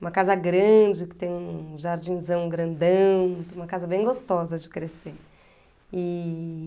Uma casa grande, que tem um jardinzão grandão, uma casa bem gostosa de crescer. E...